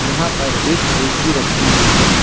यहां पर एक ए_सी रखी हुई है।